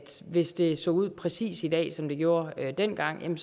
hvis det så ud præcis i dag som det gjorde dengang